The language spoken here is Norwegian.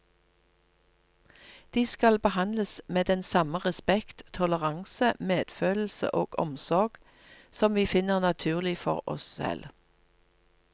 De skal behandles med den samme respekt, toleranse, medfølelse og omsorg som vi finner naturlig for oss selv.